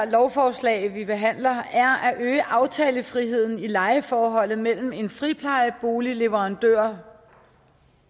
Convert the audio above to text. lovforslag vi behandler er at øge aftalefriheden i lejeforholdet mellem en friplejeboligleverandør